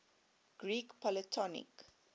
greek polytonic